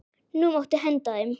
Nú máttu henda þeim.